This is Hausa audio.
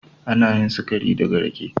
Ana yin sikari daga rake.